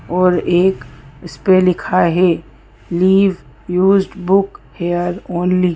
और एक इस पे लिखा है leave used book here only.